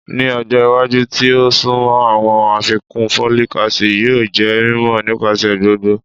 Ni ọjọ iwaju ti o sunmọ, awọn afikun folic acid yoo jẹ mimọ nipasẹ gbogbo